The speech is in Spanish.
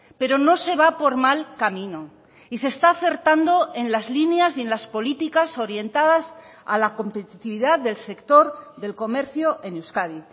pero no se va por mal camino y se está acertando en las líneas y en las políticas orientadas a la competitividad del sector del comercio en euskadi